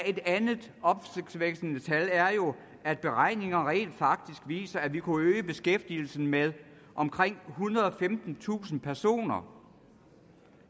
et andet opsigtsvækkende tal er jo at beregninger rent faktisk viser at vi kunne øge beskæftigelsen med omkring ethundrede og femtentusind personer